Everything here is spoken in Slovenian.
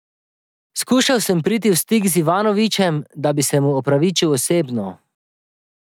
Skušal sem priti v stik z Ivanovićem, da bi se mu opravičil osebno.